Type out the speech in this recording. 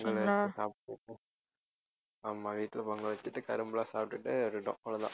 பொங்கல் வச்சு சாப்பிட்டு ஆமா வீட்டுல பொங்கல் வச்சுட்டு கரும்பெல்லாம் சாப்பிட்டுட்டே இருந்தோம் அவ்ளோதான்